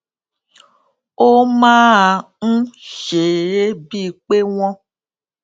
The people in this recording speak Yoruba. ó máa ń ṣe é bíi pé wón